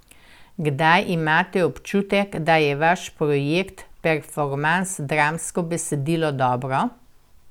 Kdaj imate občutek, da je vaš projekt, performans, dramsko besedilo dobro?